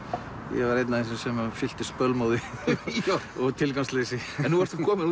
ég var einn af þessum sem fylltist bölmóði og tilgangsleysi nú ertu komin